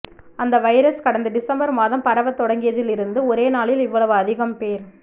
அந்த வைரஸ் கடந்த டிசம்பா் மாதம் பரவத் தொடங்கியதிலிருந்து ஒரே நாளில் இவ்வளவு அதிகம் போ்